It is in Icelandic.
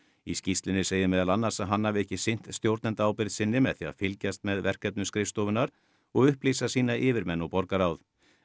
í skýrslunni segir meðal annars að hann hafi ekki sinnt sinni með því að fylgjast með verkefnum skrifstofunnar og upplýsa sína yfirmenn og borgarráð